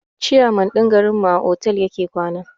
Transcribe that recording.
ciyaman din garin mu a otal yake kwana.